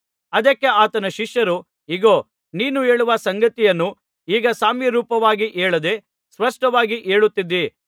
ಅದಕ್ಕೆ ಆತನ ಶಿಷ್ಯರು ಇಗೋ ನೀನು ಹೇಳುವ ಸಂಗತಿಯನ್ನು ಈಗ ಸಾಮ್ಯರೂಪವಾಗಿ ಹೇಳದೆ ಸ್ಪಷ್ಟವಾಗಿ ಹೇಳುತ್ತಿದ್ದೀ